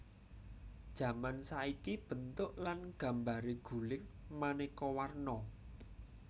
Jaman saiki bentuk lan gambaré guling manéka warna